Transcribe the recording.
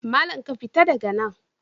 Malam, ka fita daga nan!